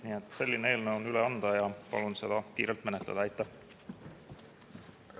Nii et selline eelnõu on üle anda ja palun seda kiirelt menetleda.